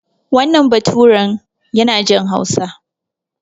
Wannan baturan yana jin Hausa.